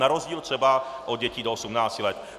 Na rozdíl třeba od dětí do 18 let.